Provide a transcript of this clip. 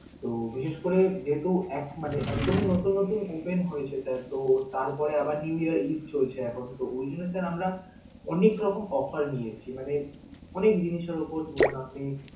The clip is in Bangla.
তো বিশেষ করে যেহেতু এক~ মানে একদমি নতুন নতুন open হয়েছে sir তাই তো তারপরে আবার new year ঈদ চলছে এখন তো Oi jony sir আমরা অনেক রকম offer নিয়েছি, মানে অনেক জিনিসের উপর ধরুন আপনি